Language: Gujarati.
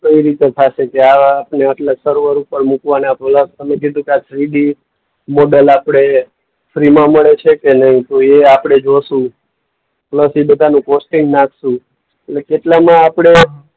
કઈ રીતે થાશે જ્યાં આપણને આટલા સર્વર ઉપર મુકવાના તમે કીધું કે આ થ્રીડી મોડેલ આપણે ફ્રીમાં મળે છે કે નહીં તો એ આપણે જોશું પ્લસ એ બધાનું પોસ્ટિંગ નાંખશું. અને કેટલામાં આપણે